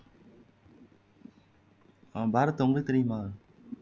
ஆமா பாரத் உங்களுக்கு தெரியுமா